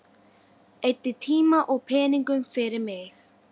Eyddi tíma og peningum fyrir mig.